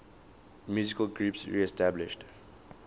musical groups reestablished